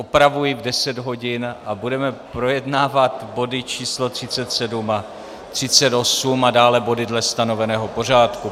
Opravuji v 10 hodin a budeme projednávat body číslo 37 a 38 a dále body dle stanoveného pořádku.